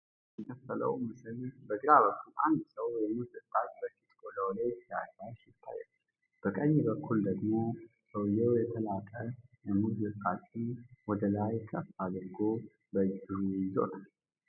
በሁለት የተከፈለው ምስል በግራ በኩል አንድ ሰው የሙዝ ልጣጭን በፊት ቆዳው ላይ ሲያሻሽ ይታያል። በቀኝ በኩል ደግሞ ሰውየው የተላጠ የሙዝ ልጣጭን ወደ ላይ ከፍ አድርጎ በእጁ ይዞታል።